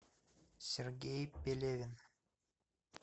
сергей пелевин